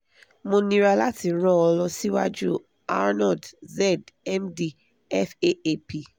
mo níra lati ran ọ́ lọ siwaju arnold zedd md faap